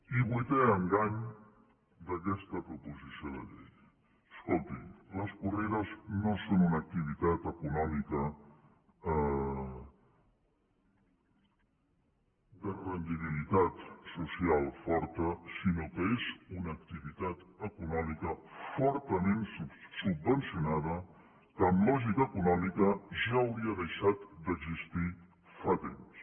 i vuitè engany d’aquesta proposició de llei escolti les corrides no són una activitat econòmica de rendibilitat social forta sinó que és una activitat econòmica fortament subvencionada que en lògica econòmica ja hauria deixat d’existir fa temps